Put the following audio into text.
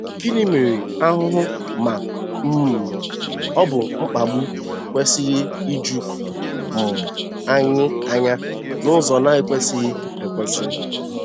Gịnị mere ahụhụ ma um ọ bụ mkpagbu ekwesịghị iju um anyị anya n'ụzọ na-ekwesịghị ekwesị?